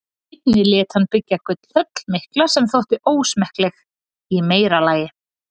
Einnig lét hann byggja gullhöll mikla sem þótti ósmekkleg í meira lagi.